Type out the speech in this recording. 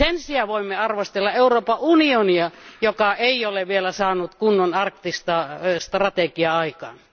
Sen sijaan voimme arvostella Euroopan unionia, joka ei ole vielä saanut kunnon arktista strategiaa aikaiseksi.